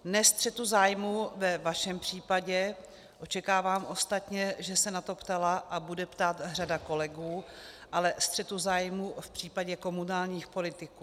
Ne střetu zájmů ve vašem případě, očekávám ostatně, že se na to ptala a bude ptát řada kolegů, ale střetu zájmů v případě komunálních politiků.